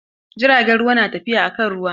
Jirgin ruwan na tafiya kan ruwa.